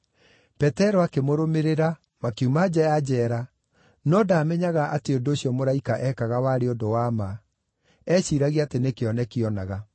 Petero akĩmũrũmĩrĩra, makiuma nja ya njeera, no ndaamenyaga atĩ ũndũ ũcio mũraika eekaga warĩ ũndũ wa ma; eeciiragia atĩ nĩ kĩoneki oonaga.